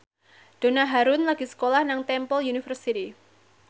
Donna Harun lagi sekolah nang Temple University